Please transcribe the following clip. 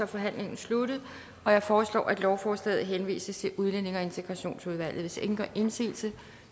forhandlingen sluttet jeg foreslår at lovforslaget henvises til udlændinge og integrationsudvalget hvis ingen gør indsigelse